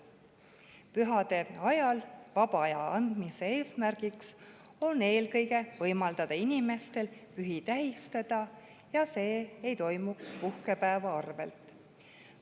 Pühade ajal vaba aja andmise eesmärk on eelkõige võimaldada inimestel pühi tähistada ja et see ei toimuks puhkepäeva arvelt.